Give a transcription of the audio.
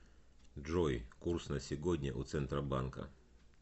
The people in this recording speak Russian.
джой курс на сегодня у центробанка